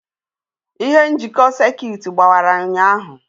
Ihe njikọ sekit gbawara ụnyaahụ.